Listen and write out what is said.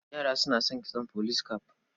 Yara suna son kitson police cap.